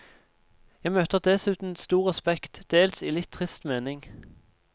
Jeg møter dessuten stor respekt, dels i litt trist mening.